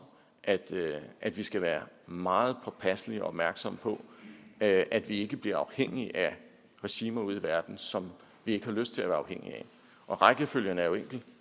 at at vi skal være meget påpasselige og opmærksomme på at at vi ikke bliver afhængige af regimer ude i verden som vi ikke har lyst til at være afhængige af og rækkefølgen er jo enkel